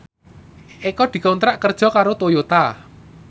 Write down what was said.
Eko dikontrak kerja karo Toyota